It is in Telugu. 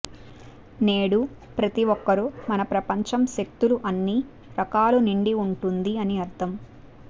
నేడు ప్రతి ఒక్కరూ మన ప్రపంచం శక్తులు అన్ని రకాల నిండి ఉంటుంది అని అర్థం